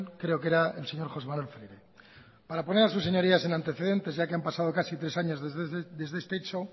creo que era el señor josé manuel freire para poner a sus señorías en antecedentes ya que han pasado casi tres años desde este hecho